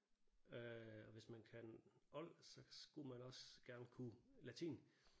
Øh og hvis man kan old så skulle man også gerne kunne latin